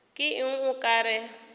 ke eng o ka re